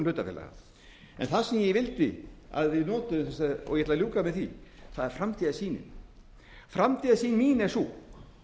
hlutafélaga en það sem ég vildi og ég ætla að ljúka með því er framtíðarsýnin framtíðarsýn mín er sú